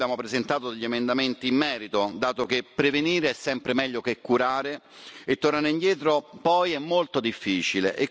Noi abbiamo presentato degli emendamenti in merito, dato che prevenire è sempre meglio che curare e tornare indietro, poi, è molto difficile.